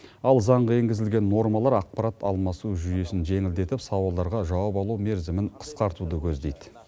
ал заңға енгізілген нормалар ақпарат алмасу жүйесін жеңілдетіп сауалдарға жауап алу мерзімін қысқартуды көздейді